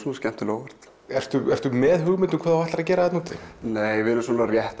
skemmtilega á óvart ertu ertu með hugmynd um hvað þú ætlar að gera þarna úti nei við erum rétt